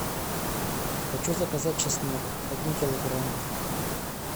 хочу заказать чеснок один килограмм